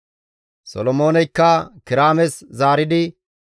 Solomooneykka Kiraames zaaridi,